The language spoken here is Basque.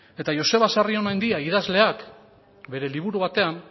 eta joseba sarrionandia idazleak bere liburu batean